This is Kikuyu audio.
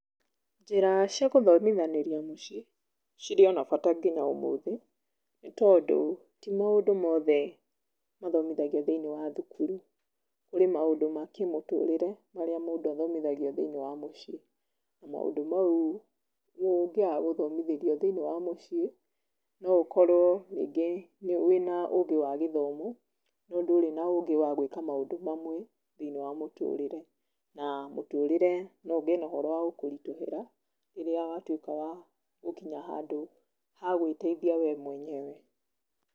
Njĩra cia gũthomithanĩria mũciĩ, cirĩ ona bata nginya ũmũthĩ, nĩtondũ ti mandũ mothe, mathomithagio thĩiniĩ wa thukuru, kũrĩ maũndũ ma kĩmũtũrĩre marĩa mũndũ athomithagio thĩiniĩ wa mũciĩ. Na maũndũ mau ũngĩaga gũthomithĩrio thĩiniĩ wa mũciĩ, no ũkorũo rĩngĩ wĩna ũgĩ wa gĩthomo, no ndũrĩ na ũgĩ wa gwĩka maũndũ mamwe, thĩiniĩ wa mũtũrĩre. Na mũtũrĩre no ũgĩe ũhoro wa gũkũrituhĩra, rĩrĩa watuĩka wa gũkinya handũ ha gũĩteithia we mũenyewe